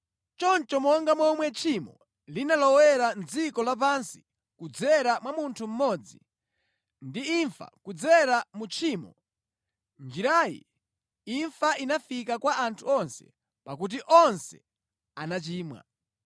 Choncho monga momwe tchimo linalowa mʼdziko lapansi kudzera mwa munthu mmodzi, ndi imfa kudzera mu tchimo, mʼnjirayi imfa inafika kwa anthu onse pakuti onse anachimwa.